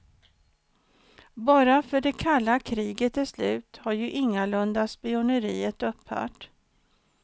Bara för att det kalla kriget är slut, har ju ingalunda spioneriet upphört.